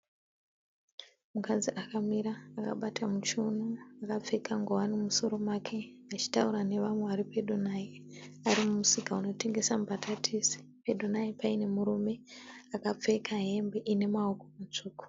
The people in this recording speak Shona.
Mukadzi akamira akabata muchiuno akapfeka ngowani mumusoro make achitaura nevamwe vari pedo naye. Ari mumusika unotengesa mbatatisi. Pedo naye paine murume akapfeka hembe ine maoko matsvuku.